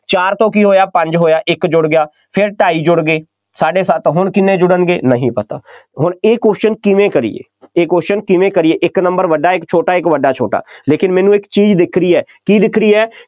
ਚਾਰ ਤੋਂ ਕੀ ਹੋਇਆ, ਪੰਜ ਹੋਇਆ, ਇੱਕ ਜੁੜ ਗਿਆ ਫੇਰ ਢਾਈ ਜੁੜ ਗਏ, ਸਾਢੇ ਸੱਤ, ਹੁਣ ਕਿੰਨੇ ਜੁੜਨਗੇ ਨਹੀਂ ਪਤਾ, ਹੁਣ ਇਹ question ਕਿਵੇਂ ਕਰੀਏ, ਇਹ question ਕਿਵੇਂ ਕਰੀਏ, ਕਿ ਇੱਕ number ਵੱਡਾ, ਇੱਕ ਛੋਟਾ, ਇੱਕ ਵੱਡਾ, ਛੋਟਾ, ਲੇਕਿਨ ਮੈਨੂੰ ਇੱਕ ਚੀਜ਼ ਦਿਖ ਰਹੀ ਹੈ, ਕੀ ਦਿਖ ਰਹੀ ਹੈ,